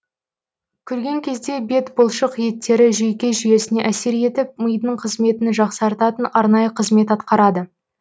күлген кезде бет бұлшық еттері жүйке жүйесіне әсер етіп мидың қызметін жақсартатын арнайы қызмет атқарады